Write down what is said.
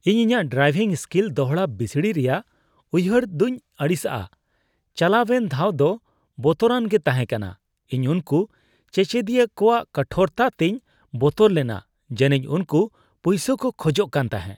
ᱤᱧ ᱤᱧᱟᱹᱜ driving skill ᱫᱚᱲᱦᱟ ᱵᱤᱥᱲᱤ ᱨᱮᱭᱟᱜ ᱩᱭᱦᱟᱹᱨ ᱫᱚᱧ ᱟᱹᱲᱤᱥᱟᱜᱼᱟ, ᱪᱟᱞᱟᱣᱮᱱ ᱫᱷᱟᱣ ᱫᱚ ᱵᱚᱛᱚᱨᱟᱱ ᱜᱮ ᱛᱟᱦᱮᱸᱠᱟᱱᱟ ᱾ ᱤᱧ ᱩᱱᱠᱩ ᱪᱮᱪᱮᱫ ᱠᱚᱣᱟᱜ ᱠᱚᱴᱷᱳᱨᱛᱟ ᱛᱮᱧ ᱵᱚᱛᱚᱨ ᱞᱮᱱᱟ ᱡᱟᱹᱱᱤᱡ ᱩᱱᱠᱩ ᱯᱩᱭᱭᱥᱟᱹ ᱠᱚ ᱠᱷᱚᱡᱚᱜ ᱠᱟᱱ ᱛᱟᱦᱮᱸᱜ ᱾